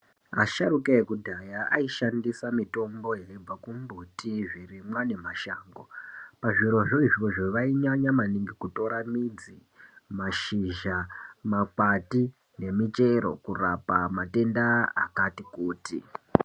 Asharuka ekudhaya aishandisa mitombo yaibva kumbuti, zvirimwa nemashango. Pazvirozvo izvozvo vainyanya maningi kutora midzi, mashizha, makwati nemichero kurapa matenda akati kuti.